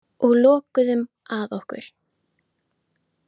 Og lokuðum að okkur.